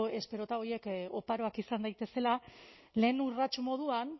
esperota horiek oparoak izan daitezela lehen urrats moduan